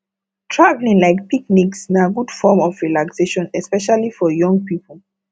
traveling like picnics na good form of relaxation especially for young people